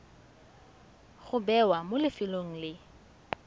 go bewa mo lefelong le